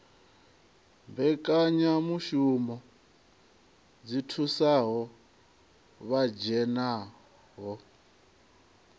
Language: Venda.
mbekanyamushumo dzi thusaho vha dzhenaho